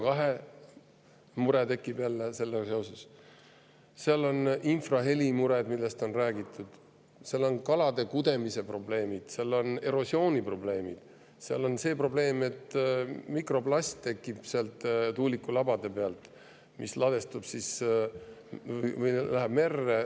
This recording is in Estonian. kaasnevad ka infrahelimured, millest on juba räägitud, tekivad kalade kudemise probleemid, erosiooniprobleemid, tekib probleem, et sealt tuulikulabade pealt tekib mikroplast, mis läheb, ladestub merre.